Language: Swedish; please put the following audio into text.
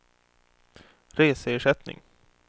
reseersättning